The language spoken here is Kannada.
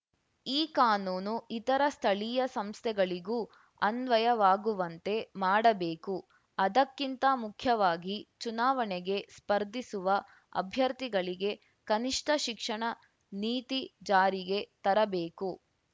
ಈ ಕಾನೂನು ಇತರ ಸ್ಥಳೀಯ ಸಂಸ್ಥೆಗಳಿಗೂ ಅನ್ವಯವಾಗುವಂತೆ ಮಾಡಬೇಕು ಅದಕ್ಕಿಂತ ಮುಖ್ಯವಾಗಿ ಚುನಾವಣೆಗೆ ಸ್ಪರ್ಧಿಸುವ ಅಭ್ಯರ್ಥಿಗಳಿಗೆ ಕನಿಷ್ಠ ಶಿಕ್ಷಣ ನೀತಿ ಜಾರಿಗೆ ತರಬೇಕು